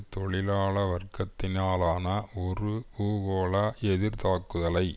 தொழிலாள வர்க்கத்தினாலான ஒரு பூகோள எதிர்த்தாக்குதலை